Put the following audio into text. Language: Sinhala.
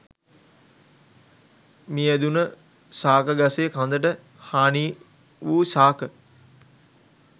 මියැදුණු ශාක ගසේ කඳට හානිවූ ශාක